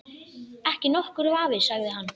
Ekki nokkur vafi sagði hann.